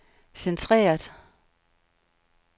centreret